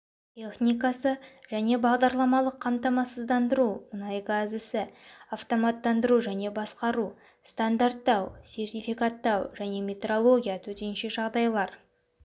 техникасы және бағдарламалық қамтамасыздандыру мұнайгаз ісі автоматтандыру және басқару стандарттау сертификаттау және метрология төтенше жағдайлар